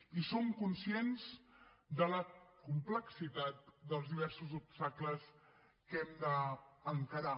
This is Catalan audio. i som conscients de la complexitat dels diversos obstacles que hem d’encarar